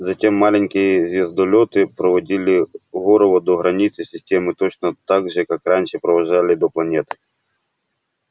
затем маленькие звездолёты проводили горова до границы системы точно так же как раньше провожали до планеты